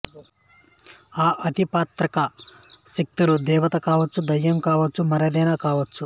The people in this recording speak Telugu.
ఆ అతి ప్రాకృతిక శక్తులు దేవత కావచ్చు దయ్యం కావచ్చు మరేదైనా కావచ్చు